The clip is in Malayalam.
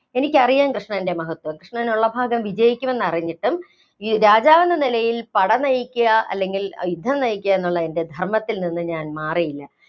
എനിക്കറിയാം കൃഷ്ണന്‍റെ മഹത്വം. കൃഷ്ണൻ ഉള്ള ഭാഗം വിജയിക്കുമെന്നറിഞ്ഞിട്ടും ഈ രാജാവെന്ന നിലയില്‍ പട നയിക്കുക അല്ലെങ്കില്‍ യുദ്ധം നയിക്കുക എന്നുള്ള എന്‍റെ ധര്‍മ്മത്തില്‍ നിന്നു ഞാന്‍ മാറിയില്ല.